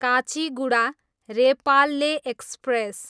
Kacheguda, Repalle express